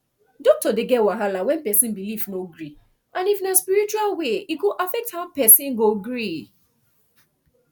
doctor dey get wahala when person belief no gree and if na spiritual way e go affect how person go gree